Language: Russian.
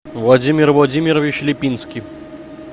владимир владимирович лепинский